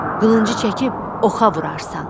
Qılıncı çəkib oxa vurarsan.